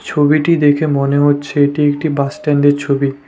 ছবিটি দেখে মনে হচ্ছে এটি একটি বাসস্ট্যান্ডের ছবি।